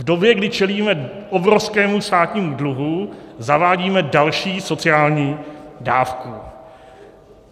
V době, kdy čelíme obrovskému státnímu dluhu, zavádíme další sociální dávku.